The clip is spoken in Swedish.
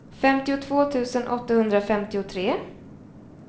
femtiotvå tusen åttahundrafemtiotre